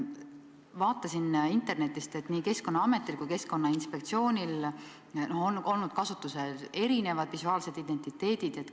Vaatasin internetist, et Keskkonnaametil ja Keskkonnainspektsioonil on olnud kasutusel erinevad visuaalsed identiteedid.